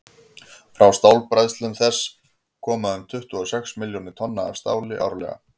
frá stálbræðslum þess koma um tuttugu og sex milljónir tonna af stáli árlega